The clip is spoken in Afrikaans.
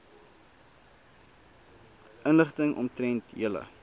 inligting omtrent julle